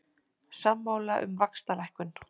Sammála um vaxtalækkun